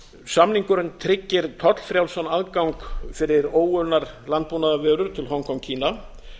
samningurinn tryggir tollfrjálsan aðgang fyrir óunnar landbúnaðarvörur til hong kong kína